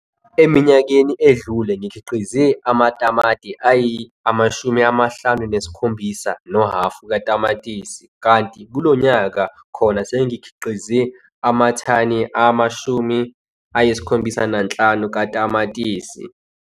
Eminyakeni edlule ngikhiqize amathani ayi-57,5 katamatisi, kanti kulo nyaka khona sengikhiqize amathani ama-75 katamatisi.